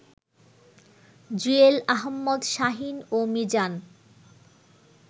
জুয়েল আহাম্মদ শাহীন ও মিজান